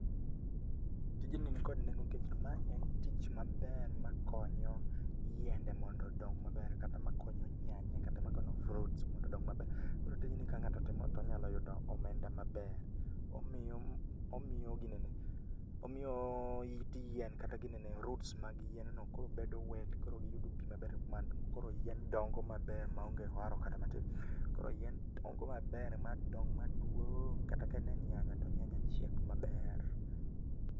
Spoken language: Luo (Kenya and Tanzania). Tijni ni kod nengo nikech ma en tich maber makonyo yiende mondo odong maber kata makonyo nyanya kata makonyo fruits mondo odong maber. Koro tijni ka ng'ato timo to onyalo yudo omenda maber. Omiyo omiyo ginene, omiyooo it yien kata ginene roots mag yienno koro bedo wet koro yudo pii. koro yien dongo ,maber ma onge oharo kata matin .Koro yien dongo maber ma dong maduoong'kata ka ne ene nyanya to nyanya chiek mabaer.